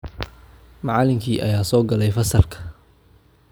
Macallinkii ayaa soo galay fasalka